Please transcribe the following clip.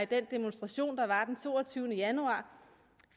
den demonstration der var den toogtyvende januar